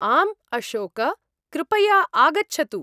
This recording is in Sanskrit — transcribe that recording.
आम् अशोक! कृपया आगच्छतु।